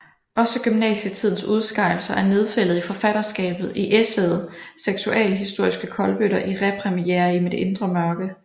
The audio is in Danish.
Også gymnasietidens udskejelser er nedfældet i forfatterskabet i essayet Seksualhistoriske kolbøtter i Repremiere i mit indre mørke